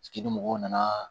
Ni mɔgɔw nana